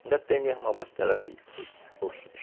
Ainda tem meu irmão abastardo ali